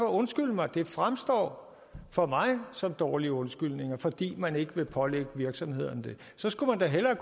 undskyld mig det fremstår for mig som dårlige undskyldninger fordi man ikke vil pålægge virksomhederne det så skulle man da hellere